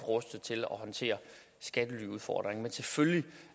rustet til at håndtere udfordringen selvfølgelig